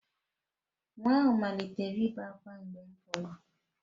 Nwa ahụ malitere ibe ákwá mgbe m pụrụ